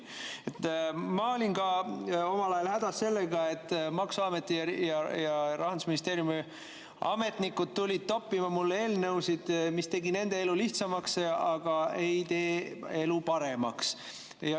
Ma olin ka omal ajal hädas sellega, et maksuameti ja Rahandusministeeriumi ametnikud tulid toppima mulle eelnõusid, mis tegi nende elu lihtsamaks, aga ei tee elu paremaks.